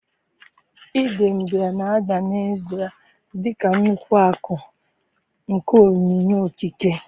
Idembia na-ada n'ezie dị ka nnukwu akụ nke onyinye okike.